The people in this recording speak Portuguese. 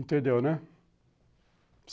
Entendeu, né?